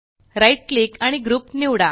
right click आणि group निवडा